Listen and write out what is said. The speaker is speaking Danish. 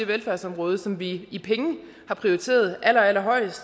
velfærdsområde som vi i penge har prioriteret allerallerhøjst